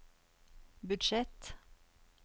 budsjett